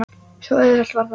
Svo auðvelt var það.